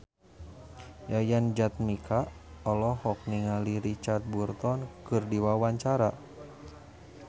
Yayan Jatnika olohok ningali Richard Burton keur diwawancara